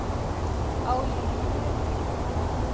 Á ég hér við þing.